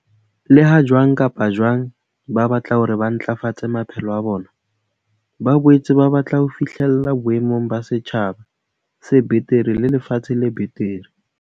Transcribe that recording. Leha jwang kapa jwang ba batla hore ba ntlafatse maphelo a bona, ba boetse ba batla ho fi hlella boemong ba setjhaba se betere le lefatshe le betere.